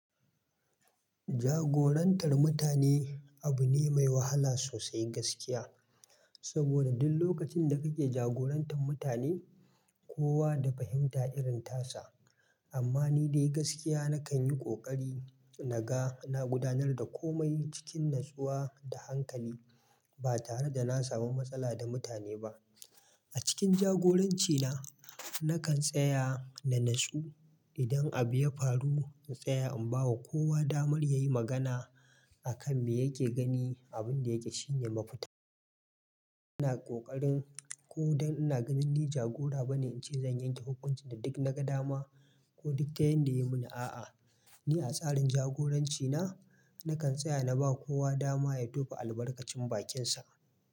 Jagorantar mutane abu ne mai wahala sosai gaskiya. Saboda duk lokacin da kake jagorantar mutane, kowa da fahimta irin tasa. Amma ni dai gaskiya nakan yi ƙoƙari na ga na gudanar da komai cikin natsuwa da hankali ba tare da na samu matsala da mutane ba. A cikin jagorancina, nakan tsaya na natsu idan abu ya faru na tsaya in ba wa kowa damar ya yi magana a kan me yake gani, abin da yaji shi ne mafita. Ina ƙoƙarin ko don ina ganin ni jagora bane ince zan yanke hukunci da duk na ga dama ko duka yanda ya yi mi ni a'a, ni a tsarin jagorancina nakan tsaya na ba wa kowa dama ya tofa albarkacin bakinsa.